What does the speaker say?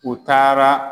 U taara